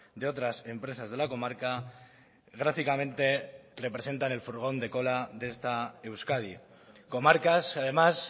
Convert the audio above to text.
de otras empresas de la comarca gráficamente representan el furgón de cola de esta euskadi comarcas además